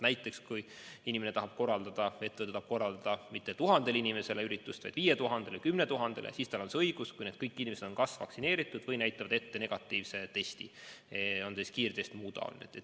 Näiteks kui inimene või ettevõte tahab korraldada üritust mitte 1000 inimesele, vaid 5000-le või 10 000-le, siis tal on see õigus, kui kõik osalejad on kas vaktsineeritud või näitavad ette negatiivse testi, on see siis kiirtest või muu.